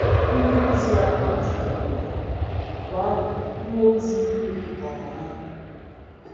Ndịozi ahụ jidere ha, mgbe ahụ mmụọ ozi tụpụtara ha n’ọnwụnwa.